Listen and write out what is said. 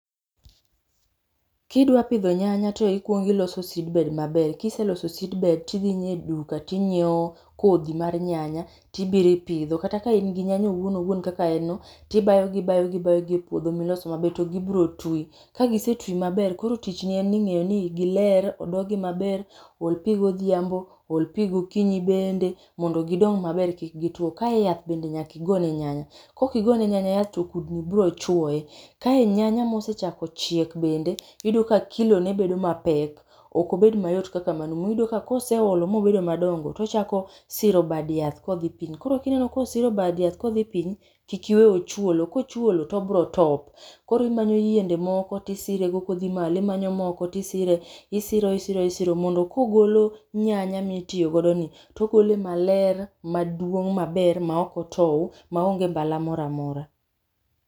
Kidwa pidho nyanya to ikuongo iloso seedbed maber. Kiseloso seedbed, tidhie e duka tinyiewo kodhi mar nyanya tibiro ipidho, kata ka in gi nyanya owuon owuon kaka en no, tibayogo ibayogi ibayogi e puodho milos maber to gibiro twi. Ka gise twi maber, koro tichni en ni ng'eyo ni giler, odogi maber, ol pi godhiambo, ol pi gokinyi bende, mondo gidong maber kik gitwo. Kae yath bende nyaka igone nyanya. Kokigone nyanya yath to kudni biro chuoye. Kae nyanya mosechako chiek bende, iyudo ka kilone bedo mapek. Okobed mayot kaka manumu. Iyudo ka koseolo mobedo madongo tochako siro bad yath kodhi piny. Koro kineno kosiro bad yath kodhi piny, kik iwe ochuolo, kochuolo to obiro top. Koro imanyo yiende moko tisirego kodhi malo, imanyo moko tisire, isiro isiro isiro mondo kogolo nyanya mitiyigodoni, togole maler maduong' maber ma okotowo, maonge mbala mora mora.